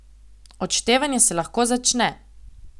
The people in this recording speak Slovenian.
Odštevanje se lahko začne!